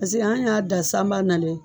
Paseke an y'a dan sanba na don.